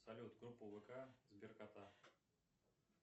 салют группа вк сберкота